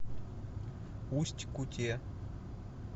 усть куте